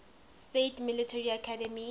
states military academy